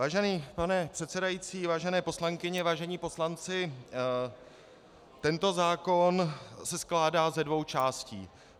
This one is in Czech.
Vážený pane předsedající, vážené poslankyně, vážení poslanci, tento zákon se skládá ze dvou částí.